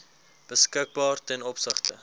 beskikbaar ten opsigte